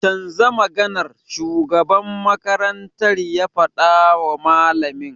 Canza kan maganar!' shugaban makarantar ya fadawa malamin.